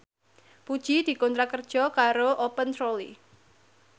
Puji dikontrak kerja karo Open Trolley